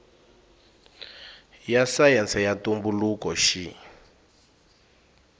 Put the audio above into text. ya sayense ya ntumbuluko xi